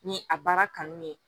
Ni a baara kanu de ye